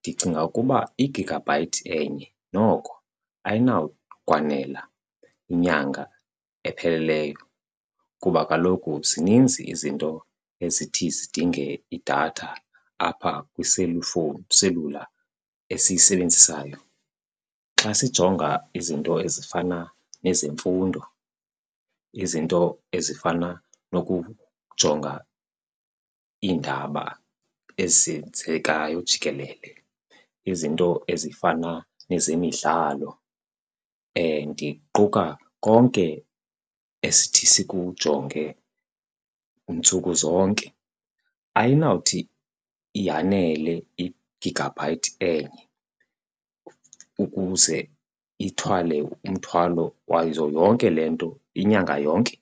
ndicinga ukuba igigabhayithi enye noko ayinawukwanela inyanga epheleleyo kuba kaloku zininzi izinto ezithi zidinge idatha apha kwiselifowuni iselula esiyisebenzisayo. Xa sijonga izinto ezifana nezemfundo, izinto ezifana nokujonga iindaba ezenzekayo jikelele, izinto ezifana nezemidlalo, ndiquka konke esithi sikujonge ntsuku zonke. Ayinawuthi yanele igigabhayithi enye ukuze ithwale umthwalo wazo yonke le nto inyanga yonke.